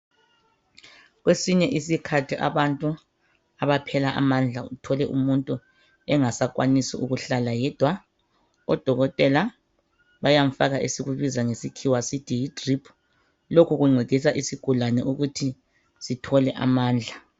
Kwesinye isikhathi abantu abaphela amandlla. Uthole umuntu engasakwanisi ukuhlala yedwa, Odokotela bayamfaka, esikubiza ngesikhiwa sithi yidrip. Lokhu kuncedisa isigulane ukuthi sithole amandla.